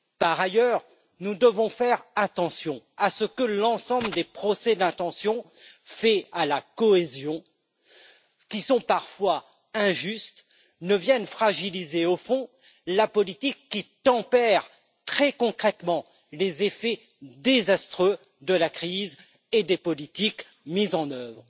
Par ailleurs, nous devons faire attention à ce que l'ensemble des procès d'intention faits à la cohésion, qui sont parfois injustes, ne viennent fragiliser la politique qui tempère très concrètement les effets désastreux de la crise et des politiques mises en œuvre.